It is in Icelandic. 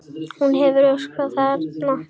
Ég hafði öðlast tilgang þarna.